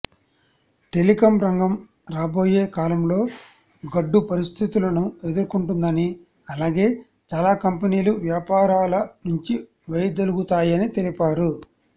telecom రంగం రాబోయే కాలంలో గడ్డు పరిస్థితులను ఎదుర్కుంటుందని అలాగే చాలా కంపెనీలు వ్యాపారాల నుంచి వైదొలుగుతాయని తెలిపారు